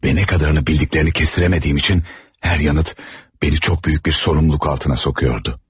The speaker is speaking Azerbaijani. Və nə qədərini bildiklərini kəsdirə bilmədiyim üçün, hər yanıt məni çox böyük bir sorumluluq altına salırdı.